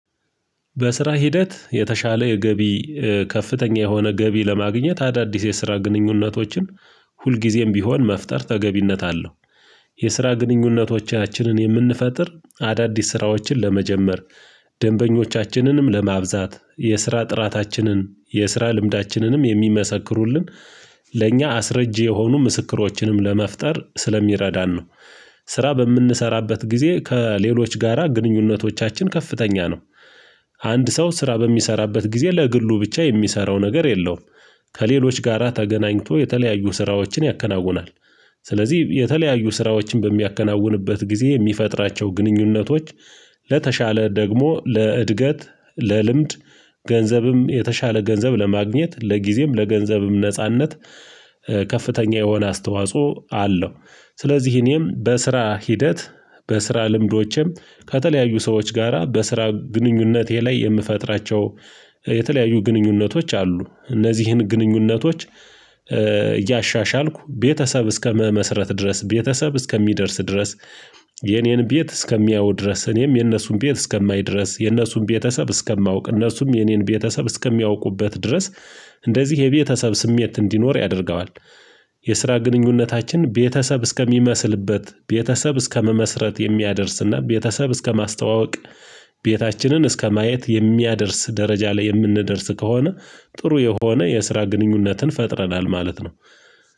በስራ ሂደት የተሻለ የገቢ ከፍተኛ የሆነ ገቢ ለማግኘት አዳዲስ የስራ ግንኙነቶችን ሁልጊዜም ቢሆን መፍጠር ተገቢነት አለው። የስራ ግንኙነቶቻችንን የምንፈጥር አዳዲስ ስራዎችን ለመጀመር ደንበኞቻችንንም ለማብዛት የስራ ጥራታችንን የስራ ልምዳችንንም የሚመሰክሩልን ለእኛ አስረጂ የሆኑ ምስክሮችንም ለመፍጠር ስለሚረዳን ነው። ስራ በምንሰራበት ጊዜ ከሌሎች ጋራ ግንኙነቶቻችን ከፍተኛ ነው። አንድ ሰው ስራ በሚሰራበት ጊዜ ለግሉ ብቻ የሚሰራው ነገር የለውም ከሌሎች ጋራ ተገናኝቶ የተለያዩ ስራዎችን ያከናውናል። ስለዚህ የተለያዩ ስራዎችን በሚያከናውንበት ጊዜ የሚፈጥራቸው ግንኙነቶች ለተሻለ ደግሞ ለእድገት ለልምድ ገንዘብም የተሻለ ገንዘብ ለማግኘት ለጊዜም ለገንዘብም ነጻነት ከፍተኛ የሆነ አስተዋጽኦ አለው። ስለዚህ እኔም በስራ ሂደት በስራ ልምዶቼም ከተለያዩ ሰዎች ጋራ በስራ ግንኙነቴ ላይ የምፈጥራቸው የተለያዩ ግንኙነቶች አሉ። እነዚህን ግንኙነቶች እያሻሻልኩ ቤተሰብ እስከመመስረት ድረስ ቤተሰብ እስከሚደርስ ድረስ የኔን ቤት እስከሚያዩ ድረስ እኔም የነሱን ቤት እስከማይድረስ የነሱን ቤተሰብ እስከማውቅ እነርሱም የኔን ቤተሰብ እስከሚያውቁበት ድረስ እንደዚህ የቤተሰብ ስሜት እንዲኖር ያደርገዋል። የስራ ግንኙነታችን ቤተሰብ እስከሚመስልበት ቤተሰብ እስከመመስረት የሚያደርስና ቤተሰብ እስከማስተዋወቅ ቤታችንን እስከማየት የሚያደርስ ደረጃ ላይ የምንደርስ ከሆነ ጥሩ የሆነ የስራ ግንኙነትን ፈጥረናል ማለት ነው